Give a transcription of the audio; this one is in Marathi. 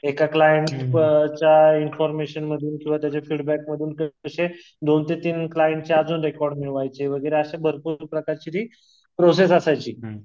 एका क्लाएंटच्या इन्फॉर्मेशन मधून किंवा त्याच्या फीडबॅक मधून दोन ते तीन क्लाएंटचे अजून रेकॉर्ड मिळवायचे वगैरे असे भरपूर प्रकारची जी प्रोसेस असायची